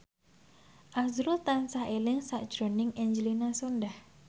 azrul tansah eling sakjroning Angelina Sondakh